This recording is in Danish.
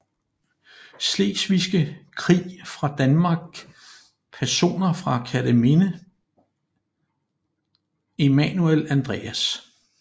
Slesvigske Krig fra Danmark Personer fra Kerteminde Emanuel Andreas